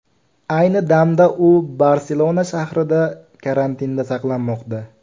Ayni damda u Barselona shahrida karantinda saqlanmoqda.